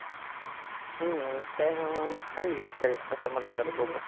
हम्म चांग चांगली आहे, choice तसं म्हणलं तर तो पण,